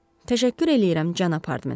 Təşəkkür eləyirəm, cənab Hardman.